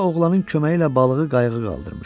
Qoca oğlanın köməyi ilə balığı qayıq qaldırmışdı.